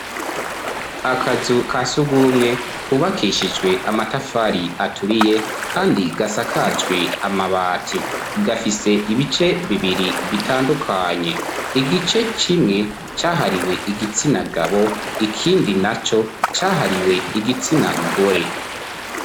Akazu ka surwumwe kubakishijwe amatafari aturiye kandi gasakajwe amabati, gafise ibice bibiri bitandukanye, igice kimwe cahariwe igitsina gabo ikindi naco cahariwe igitsina gore.